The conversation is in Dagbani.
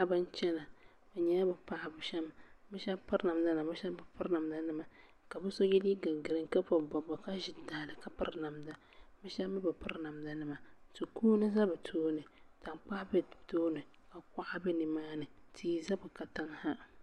Paɣiba n chɛna bi yɛla bi paɣiba pam shɛba piri namda nima shɛba bi piri namda nima ka bi so yiɛ liiga griin ka bɔbi bɔbiga ka zi taha li ka piri namda bi shɛba mi bi piri namda nima ti kuuni za bi tooni .tankpaɣu bɛ bi tooni ka kuɣa bɛ nimaani